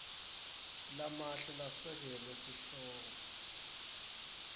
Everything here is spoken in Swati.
lamahle lasekele sihloko